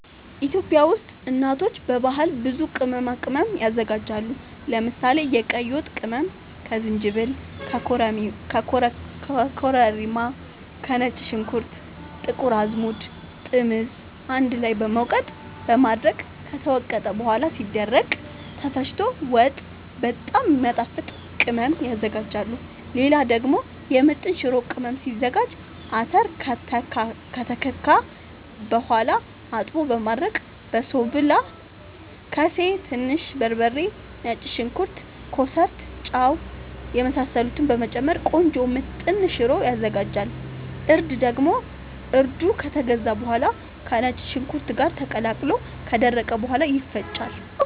ኢትዮጵያ ውስጥ እናቶች በባህል ብዙ ቅመማ ቅመም ያዘጋጃሉ። ለምሳሌ፦ የቀይ ወጥ ቅመም ከዝንጅብል፣ ከኮረሪማ፣ ከነጭ ሽንኩርት፣ ጥቁር አዝሙድ፣ ጥምዝ አንድ ላይ በመውቀጥ በማድረቅ ከተወቀጠ በኋላ ሲደርቅ ተፈጭቶ ወጥ በጣም የሚያጣፋጥ ቅመም ያዝጋጃሉ። ሌላ ደግሞ የምጥን ሽሮ ቅመም ሲዘጋጅ :- አተር ከተከካ በኋላ አጥቦ በማድረቅ በሶብላ፣ ከሴ፣ ትንሽ በርበሬ፣ ነጭ ሽንኩርት፣ ኮሰረት፣ ጫው የመሳሰሉትን በመጨመር ቆንጆ ምጥን ሽሮ ይዘጋጃል። እርድ ደግሞ እርዱ ከተገዛ በኋላ ከነጭ ሽንኩርት ጋር ተቀላቅሎ ከደረቀ በኋላ ይፈጫል።